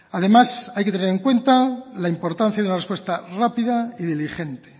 además hay que tener en cuenta la importancia de la respuesta rápida y diligente